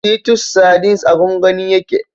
Titus sardines a gwangwani yake